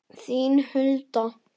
Þín, Hulda.